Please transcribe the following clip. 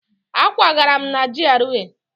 Ee, akwagara m na GRA